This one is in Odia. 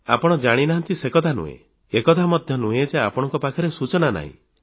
ଆପଣ ଜାଣିନାହାନ୍ତି ସେକଥା ନୁହେଁ ଏ କଥା ମଧ୍ୟ ନୁହେଁ ଯେ ଆପଣଙ୍କ ପାଖରେ ସୂଚନା ନାହିଁ